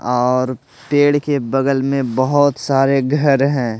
और पेड़ के बगल में बहुत सारे घर हैं।